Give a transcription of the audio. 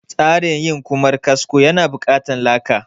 Tsarin yin Ƙumar kasko ya na buƙatan laka